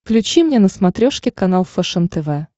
включи мне на смотрешке канал фэшен тв